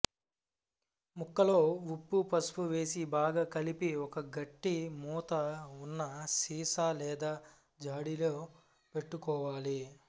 ముక్కల్లో ఉప్పు పసుపు వేసి బాగా కలిపి ఒక గట్టి మూత ఉన్న సీసా లేదా జాడీలో పెట్టుకోవాలి